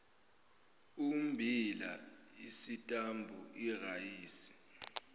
ummbila isitambu irayisi